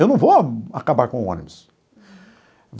Eu não vou acabar com o ônibus.